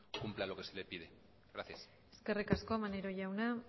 cumpla lo que se le pide gracias eskerrik asko maneiro jauna